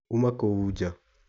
Uma kou nja.